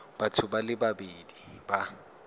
batho ba le babedi ba